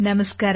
ನಮಸ್ಕಾರ